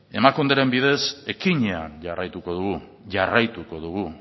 emakunderen bidez ekinean jarraituko dugu jarraituko dugu